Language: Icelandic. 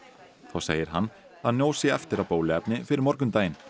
þá segir hann að nóg sé eftir af bóluefni fyrir morgundaginn